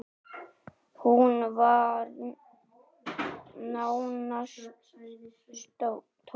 Hún var nánast tóm.